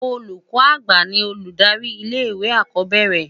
Ólúkò ágbá ni olúdári ilé iwé ákòbèérè